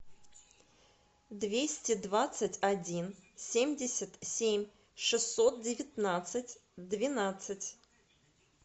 двести двадцать один семьдесят семь шестьсот девятнадцать двенадцать